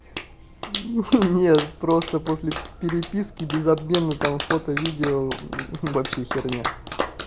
нет просто после переписки без обмена там фото видео вообще херня